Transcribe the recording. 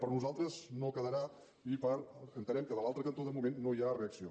per nosaltres no quedarà i entenem que de l’altre cantó de moment no hi ha reacció